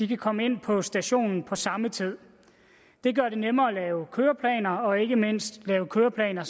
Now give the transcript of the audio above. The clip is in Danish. kan komme ind på stationen på samme tid det gør det nemmere at lave køreplaner og ikke mindst lave køreplaner